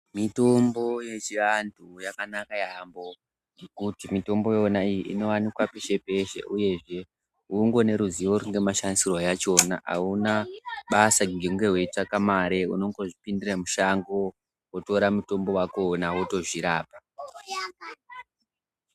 Mitombo yechiantu yakanaka yambo ngekuti mitombo iyona iyi inowanikwa peshe peshe hunger unoruzivo rwemashandisirwe achona auna basa hunge weitsvake mare kudzipindira mushango wotora mutombo wakona wotozvirapa.